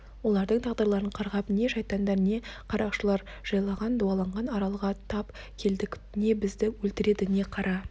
олардың тағдырларын қарғап не шайтандар не қарақшылар жайлаған дуаланған аралға тап келдік не бізді өлтіреді не қара